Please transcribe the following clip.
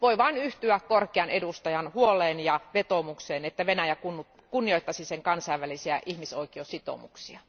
Voi vain yhtyä korkean edustajan huoleen ja vetoomukseen, että Venäjä kunnioittaisi sen kansainvälisiä ihmisoikeussitoumuksia.